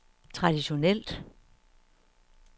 traditionelt